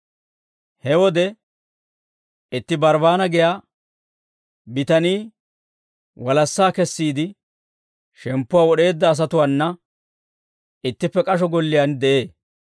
He wode itti Barbbaana giyaa bitanii walassaa kessiide shemppuwaa wod'eedda asatuwaana ittippe k'asho golliyaan de'ee.